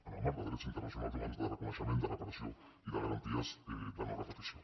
en el marc de drets internacionals i humans de reconeixement de reparació i de garanties de no·repetició